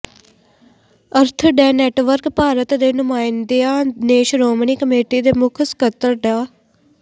ਅਰਥ day network Bharat ਦੇ ਨੁਮਾਇੰਦਿਆਂ ਨੇ ਸ਼੍ਰੋਮਣੀ ਕਮੇਟੀ ਦੇ ਮੁੱਖ ਸਕੱਤਰ ਡਾ